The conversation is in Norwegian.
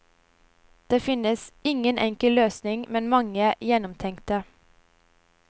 Det finnes ingen enkel løsning, men mange gjennomtenkte.